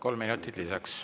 Kolm minutit lisaks.